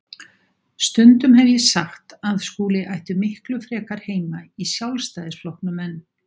Stundum hef ég sagt að Skúli ætti miklu frekar heima í Sjálfstæðisflokknum en